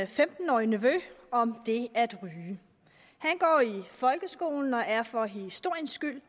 femten årige nevø om det at ryge han går i folkeskolen og er for historiens skyld